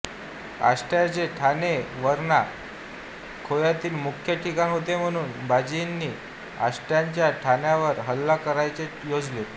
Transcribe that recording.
आष्ट्याचे ठाणे हे वारणा खोयातील मुख्य ठिकाण होते म्हणून बाळाजींनी आष्ट्याच्या ठाण्यावर हल्ला करण्याचे योजिले